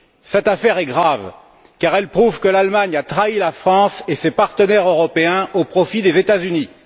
Cette affaire est grave, car elle prouve que l'Allemagne a trahi la France et ses partenaires européens au profit des États Unis.